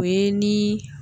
O ye ni